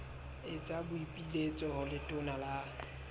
etsa boipiletso ho letona la